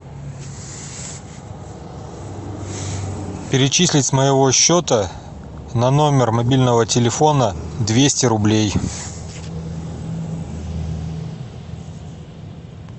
перечислить с моего счета на номер мобильного телефона двести рублей